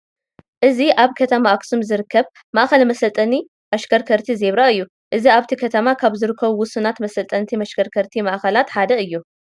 እዚ ኣብ ከተማ ኣኽሱም ዝርከብ ማእኸል መሰልጠኒ ኣሽከርከርቲ ዜብራ እዩ፡፡ እዚ ኣብቲ ከተማ ካብ ዝርከቡ ውሱናት መሰልጠንቲ መሽከርከርቲ ማእኸላት ሓደ እዩ፡፡